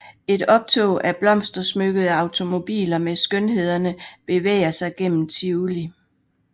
Et optog af blomstersmykkede automobiler med skønhederne bevæger sig gennem Tivoli